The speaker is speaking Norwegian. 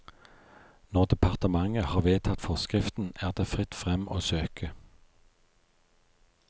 Når departementet har vedtatt forskriften, er det fritt frem å søke.